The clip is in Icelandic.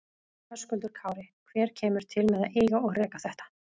Höskuldur Kári: Hver kemur til með að eiga og reka þetta?